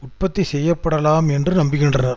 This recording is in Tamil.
உற்பத்தி செய்ய படலாம் என்று நம்புகின்றனர்